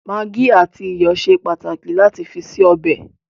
Magí àti iyọ̀ ṣe pàtàkì lati fi ṣe ọbẹ̀